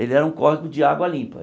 Ele era um córrego de água limpa.